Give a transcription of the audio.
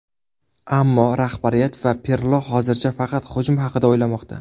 Ammo rahbariyat va Pirlo hozircha faqat hujum haqida o‘ylamoqda.